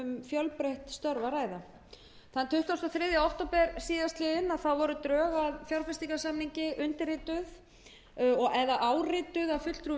fjölbreytt störf að ræða þann tuttugasta og þriðja október síðastliðinn voru drög að fjárfestingarsamningi undirrituð eða árituð af fulltrúum